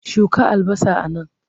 Shuka albasa a nan!